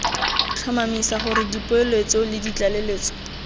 tlhomamisa gore dipoeletso le ditlaleletso